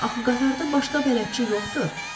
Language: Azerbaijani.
Axı qatarda başqa bələdçi yoxdur?